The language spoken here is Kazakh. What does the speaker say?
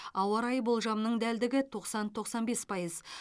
ауа райы болжамының дәлдігі тоқсан тоқсан бес пайыз